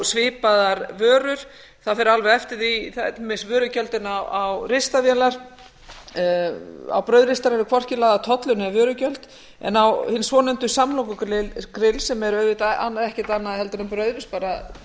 svipaðar vörur til dæmis vörugjöldin á ristavélar á brauðristar eru hvorki lagðir tollar né vörugjöld en á hin svonefndu samlokugrill sem eru auðvitað ekkert annað en brauðristar bara